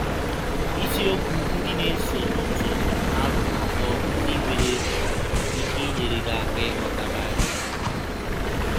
Isiọkwụ ndị na - esọnụ tụrụ arọ atọ ndị nwere um ike inyere gị aka ịghọta Baịbụl um.